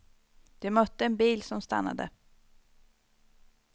Det mötte en bil som stannade.